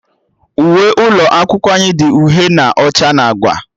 Uwe ụlọ akwụkwọ anyị dị uhie na ọcha na agba